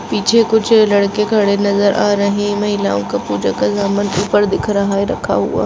पीछे कुछ लड़के खड़े नजर आ रहै महिलाओं का पूजा का सामान ऊपर दिख रहा है रखा हुआ।